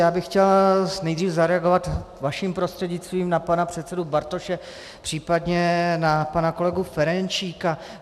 Já bych chtěl nejdřív zareagovat vaším prostřednictvím na pana předsedu Bartoše, případně na pana kolegu Ferjenčíka.